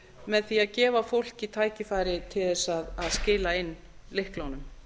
með því að gefa fólki tækifæri til þess að skila inn lyklunum